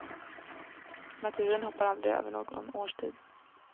Naturen hoppar aldrig över någon årstid.